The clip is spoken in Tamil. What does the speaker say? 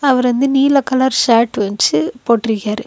அவர் வந்து நீல கலர் ஷர்ட் வச்சு போட்டிருக்காரு.